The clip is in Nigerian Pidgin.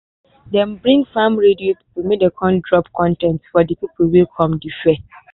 dem bring farm radio pipo make dem come drop con ten t for di pipo wey come di fair.